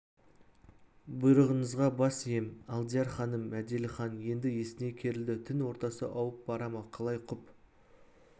бұйрығыңызға бас ием алдияр ханым мәделіхан енді есіней керілді түн ортасы ауып бара ма қалай құп